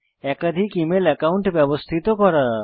একাধিক email account ব্যবস্থিত করা